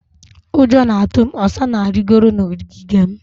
Ụjọ na-atụ m. Osa na-arịgoro n'ogige m.